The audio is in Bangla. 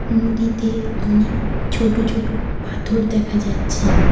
নদীতে অনেক ছোট ছোট পাথর দেখা যাচ্ছে।